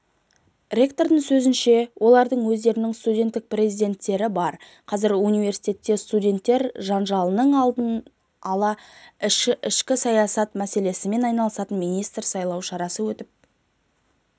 ректордың сөзінше олардың өздерінің студенттік президенттері бар қазір университетте студенттер жанжалының алдын алып ішкі саясат мәселесімен айналысатын министр сайлау шарасы өтіп